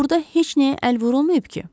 Burda heç nəyə əl vurulmayıb ki?